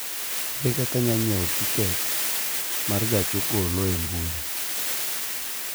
Ere kaka anyalo ng�iewo tiket ma gach okoloe mbui?